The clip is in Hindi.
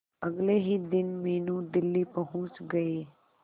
अगले ही दिन मीनू दिल्ली पहुंच गए